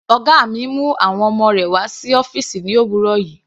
Ọ̀gá mi mú àwọn ọmọ rẹ̀ wá sí ọ́fìsì ní òwúrọ̀ yìí.